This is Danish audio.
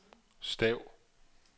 stav